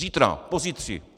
Zítra, pozítří!